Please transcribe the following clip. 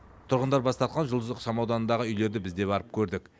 тұрғындар бас тартқан жұлдыз ықшамауданындағы үйлерді біз де барып көрдік